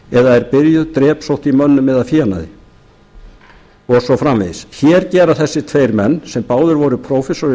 eða er byrjuð drepsótt í mönnum eða fénaði og svo framvegis hér gera þessir tveir menn sem báðir voru prófessorar í